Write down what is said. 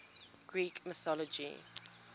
greek mythology